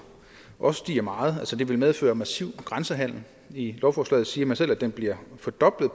også stiger meget det vil medføre massiv grænsehandel i lovforslaget siger man selv at den bliver fordoblet